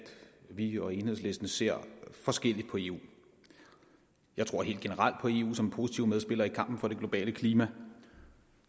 vi og enhedslisten ser forskelligt på eu jeg tror helt generelt på eu som en positiv medspiller i kampen for det globale klima og